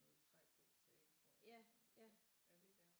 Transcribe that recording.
Noget træ på facaden tror jeg eller sådan noget ja det er der